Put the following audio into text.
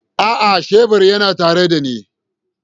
A'a, shebur yana tare da ni.